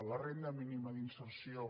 la renda mínima d’inserció